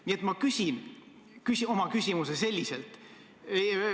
Nii et ma küsin oma küsimuse selliselt.